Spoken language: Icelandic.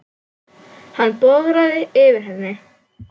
Hann bograði yfir henni.